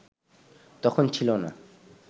তখন ছিল না